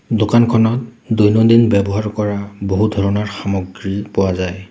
দোকানখনত দৈনন্দিন ব্যৱহাৰ কৰা বহু ধৰণৰ সামগ্ৰী পোৱা যায়।